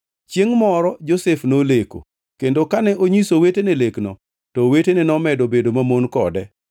Chiengʼ moro Josef noleko, kendo kane onyiso owetene lekno, to owetene nomedo bedo mamon kode.